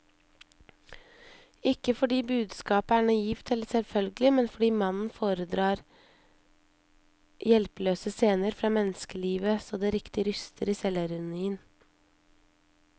Ikke fordi budskapet er naivt eller selvfølgelig, men fordi mannen foredrar hjelpeløse scener fra menneskelivet så det riktig ryster i selvironien.